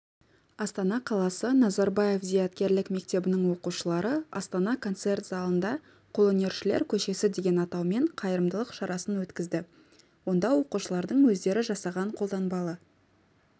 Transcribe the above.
астана қаласы назарбаев зияткерлік мектебінің оқушылары астана концерт залында қолөнершілер көшесі деген атаумен қайырымдылық шарасын өткізді онда оқушылардың өздері жасаған қолданбалы